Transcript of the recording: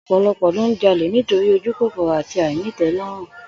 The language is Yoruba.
Ò̩pò̩lo̩pò̩̩ ló ń jalè nítorí ojúkòkòrò àti àìní-ìté̩ló̩rùn